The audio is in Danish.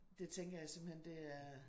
Det tænker jeg simpelthen det er